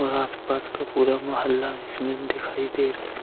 और आस-पास का पूरा मौहला इसमें दिखाई दे रहा है।